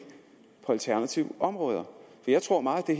på alternative områder for jeg tror at meget af